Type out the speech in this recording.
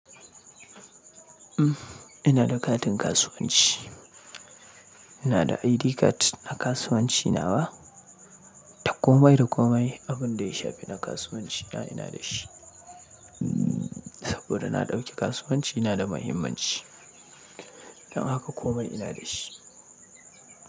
Ina da katin kasuwanci ina da ID card na kasuwanci nawa, Dakomai dakomai, abin da ya shafi na kasuwanci na ina da shi. Saboda na ɗauki kasuwanci na da mahimmanci. Dan haka komai ina da shi.